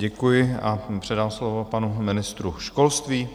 Děkuji a předám slovo panu ministru školství.